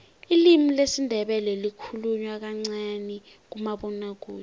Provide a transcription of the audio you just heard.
ilimi lesindebele likhulunywa kancani kumabonwakude